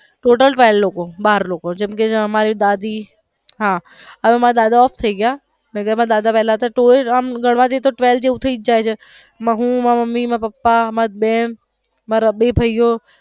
total twelve લોકો બાર લોકો જેમ કે મારી દાદી હા હવે મારા દાદા ઑફ થઈ ગયા નકર અમે દાદા પેલા હતા તો તોય આમ ગણવા જાય તો twelve જેવું થઈ જ જાય છે હું મારા મમ્મી મારા પાપા મારી બેન મારા બે ભાઈઓ.